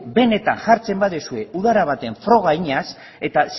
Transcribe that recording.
benetan jartzen badezue udara baten froga eginaz eta